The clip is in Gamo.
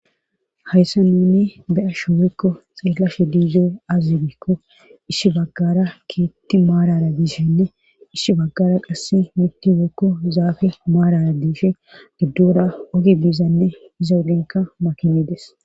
hayssa nuni beya shuuwekko xeellashe diizo azigikko issi baggara keetti maarara gishenne isshi baggara qasse mitti wekko zaafe maarara diishe giddora oge biizanne iza udinka makinides